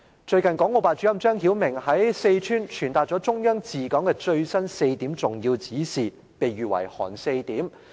最近港澳辦主任張曉明先生，在四川傳達了中央治港的最新4點重要指示，被喻為"韓四點"。